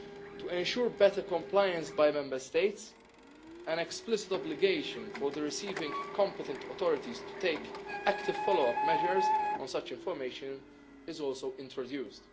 To ensure better compliance by Member States, an explicit obligation for the receiving competent authorities to take active follow up measures on such information is also introduced.